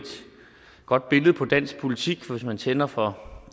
godt billede på dansk politik for hvis man tænder for